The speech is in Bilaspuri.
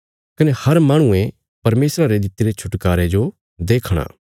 कने हर माहणुये परमेशरा रे दित्तिरे छुटकारे जो देखणा